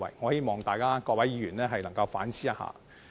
我希望各位議員能夠反思。